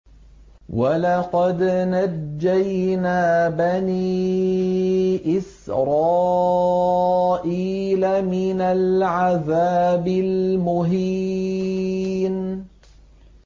وَلَقَدْ نَجَّيْنَا بَنِي إِسْرَائِيلَ مِنَ الْعَذَابِ الْمُهِينِ